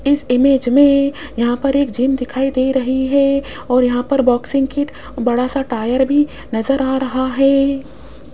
इस इमेज में यहां पर एक जिम दिखाई दे रही है और यहां पर बॉक्सिंग किट बड़ा सा टायर भी नजर आ रहा है।